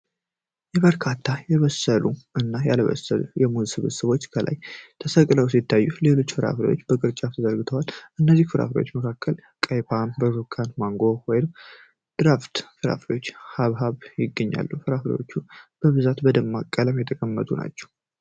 በርካታ የበሰሉ እና ያልበሰሉ የሙዝ ስብስቦች ከላይ ተሰቅለው ሲታዩ፣ ሌሎች ፍራፍሬዎች በቅርጫት ተዘርግተዋል። ከእነዚህ ፍራፍሬዎች መካከል ቀይ ፖም፣ ብርቱካን፣ ማንጎ፣ ወይን፣ ድራጎን ፍራፍሬ እና ሐብሐብ ይገኙበታል። ፍራፍሬዎቹ በብዛት በደማቅ ቀለም የተቀመጡ ናቸው።